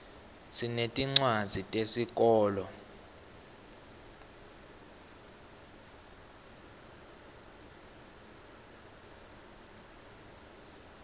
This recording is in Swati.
sinetincwadzi tesikolo